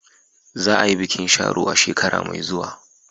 Za a yi bikin Sharo a shekara mai zuwa.